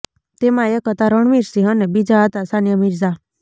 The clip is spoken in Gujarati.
તેમાં એક હતાં રણવીર સિંહ અને બીજા હતાં સાનિયા મિર્ઝા